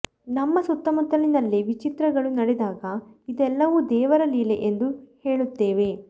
ನಮ್ಮ ಸುತ್ತಮುತ್ತಲಿನಲ್ಲೇ ವಿಚಿತ್ರಗಳು ನಡೆದಾಗ ಇದೆಲ್ಲವೂ ದೇವರ ಲೀಲೆ ಎಂದು ಹೇಳುತ್ತೇವೆ